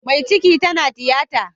Mai ciki tana tiyata